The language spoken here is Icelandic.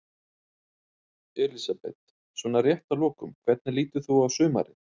Elísabet: Svona rétt að lokum, hvernig lítur þú á sumarið?